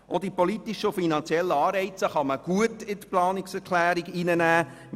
Auch die politischen und finanziellen Anreize können gut in die Planungserklärung aufgenommen werden.